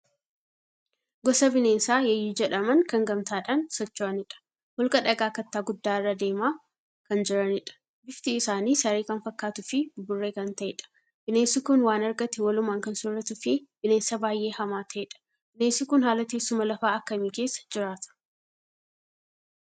Gosa bineensaa Yeeyyii jedhaman kan gamtaadhaan socho'anidha. Holqa dhagaa kattaa guddaa irra deemaa kan jiranidha. Bifti isaanii saree kan fakkaatuu fi buburree kan ta'edha. Bineensi kun waan argate walumaan kan sooratuu fi bineensa baay'ee hamaa ta'edha. Bineensi kun haala teessuma lafaa akkamii keessa jiraata.